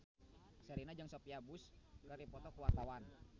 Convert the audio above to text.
Sherina jeung Sophia Bush keur dipoto ku wartawan